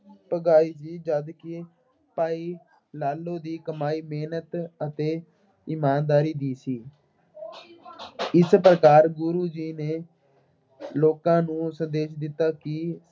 ਪੁਗਾਈ ਸੀ ਜਦਕਿ ਭਾਈ ਲਾਲੋ ਦੀ ਕਮਾਈ ਮਿਹਨਤ ਅਤੇ ਇਮਾਨਦਾਰੀ ਦੀ ਸੀ। ਇਸ ਪ੍ਰਕਾਰ ਗੁਰੂ ਜੀ ਨੇ ਲੋਕਾਂ ਨੂੰ ਸੰਦੇਸ਼ ਦਿੱਤਾ ਕਿ